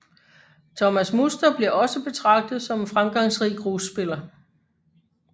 Thomas Muster bliver også betragtet som en fremgangsrig grusspiller